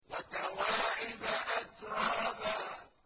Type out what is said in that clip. وَكَوَاعِبَ أَتْرَابًا